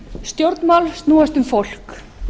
stjórnmál snúast um fólk